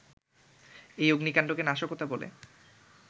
এই অগ্নিকান্ডকে নাশকতা বলে